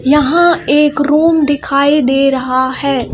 यहां एक रूम दिखाई दे रहा है।